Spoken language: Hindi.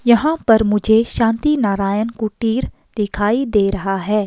यहां पर मुझे शांति नारायण कुटीर दिखाई दे रहा है।